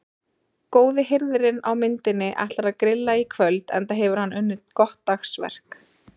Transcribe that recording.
Góði hirðirinn á myndinni ætlar að grilla í kvöld enda hefur hann unnið gott dagsverk.